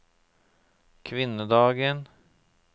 kvinnedagen